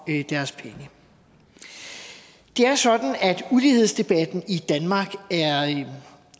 deres penge det er sådan at ulighedsdebatten